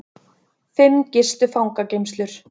Fimm gistu fangageymslur